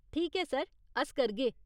ठीक ऐ सर, अस करगे।